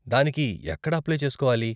దానికి ఎక్కడ అప్లై చేసుకోవాలి?